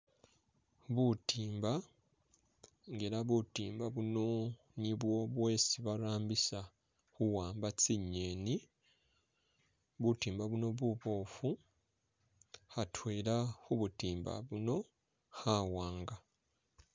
Butimba nga ela butimba buno nibwo bwesi barambisa khuwamba tsingeni butimba buno bubwofu khatwela khubutimba buno khawanga